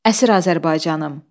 Əsir Azərbaycanım.